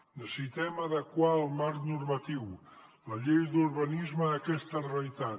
necessitem adequar el marc normatiu la llei d’urbanisme a aquesta realitat